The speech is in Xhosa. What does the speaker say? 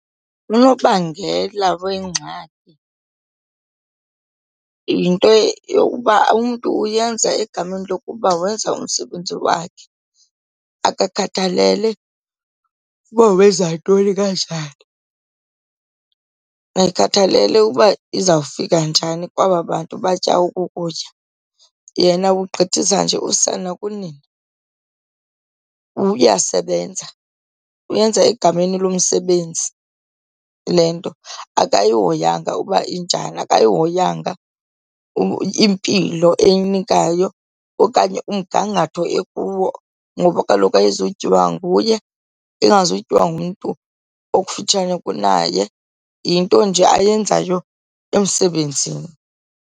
Unobangela weengxaki yinto yokuba umntu uyenza egameni lokuba wenza umsebenzi wakhe, akakhathalele uba wenza ntoni kanjani, akakhathalele uba izawufika njani kwaba bantu batya oku kutya, yena ugqithisa nje usana kunina. Uyasebenza, uyenza egameni lomsebenzi le nto, akayihoyanga uba injani, akayihoyanga impilo eyinikayo okanye umgangatho ekuwo. Ngoba kaloku ayizutyiwa nguye ingazutyiwa ngumntu okufutshane kunaye, yinto nje ayenzayo emsebenzini.